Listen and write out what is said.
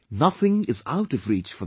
Nothing is out of reach for them